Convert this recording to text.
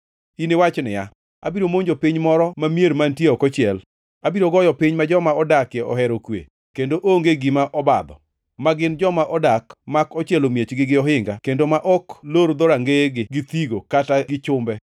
Iniwach niya, “Abiro monjo piny moro ma mier mantie ok ochiel, abiro goyo piny ma joma odakie ohero kwe kendo onge gima obadho, ma gin joma odak mak ochielo miechgi gi ohinga kendo ma ok lor dhorangeyegi gi thigo kata gi chumbe.